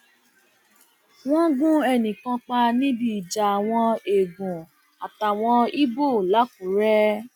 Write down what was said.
wọn gun ẹnì kan pa níbi ìjà àwọn eegun àtàwọn ibo làkúrẹ